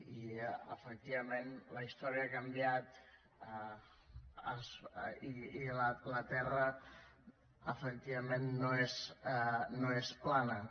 i efectivament la història ha canviat i la terra efectivament no és plana